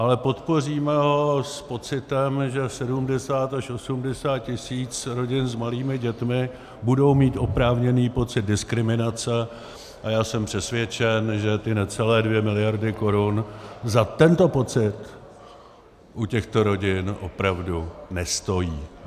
Ale podpoříme ho s pocitem, že 70 až 80 tisíc rodin s malými dětmi budou mít oprávněný pocit diskriminace, a já jsem přesvědčen, že ty necelé 2 miliardy korun za tento pocit u těchto rodin opravdu nestojí.